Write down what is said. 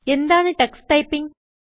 എന്താണ് text typing